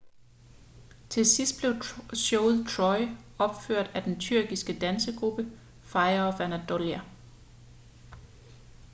til sidst blev showet troy opført af den tyrkiske dansegruppe fire of anatolia